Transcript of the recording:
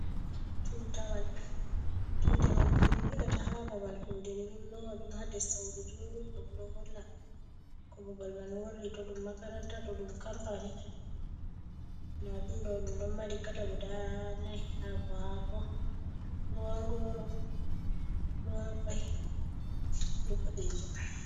Tutawal: Tatawal je bi ɓilata ha babal kuɗe ɓe lowa ɗum ha nder sauru juuɗum ɗo holla ko babal man worri to ɗum makaranta, to ɗum kampani. Nda ɗum ɗo mari kala guda nai haako-haako, ruwan-goro, ruwan-kwai be ɓoɗejum.